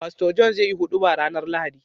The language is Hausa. Pastor john zai yi huduba rAnar lahadi